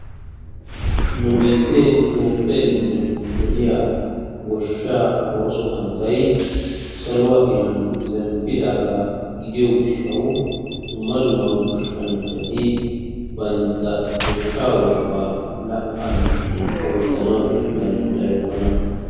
Nu biitten Toophphee giddon de'iya goshshaa ooso hanotay saluwa iran zemppidaagaa gidiyo gishshawu dumma dumma goshshanchchati bantta goshshaa oosuwa la"an oottanawu danddayokkona.